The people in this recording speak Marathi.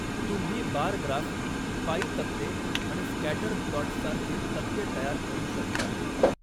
तुम्ही बार ग्राफ, पाई तक्ते आणि स्कॅटर प्लॉट्स सारखे तक्ते तयार करू शकता.